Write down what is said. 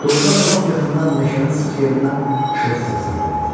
Doğrudan da lap yaxından meşənin sıx yerindən xışıltı səsi gəlirdi.